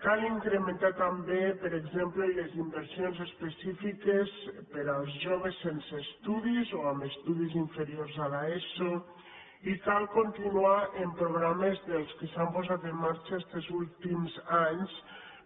cal incrementar també per exemple les inversions específiques per als joves sense estudis o amb estudis inferiors a l’eso i cal continuar amb programes dels que s’han posat en marxa estos últims anys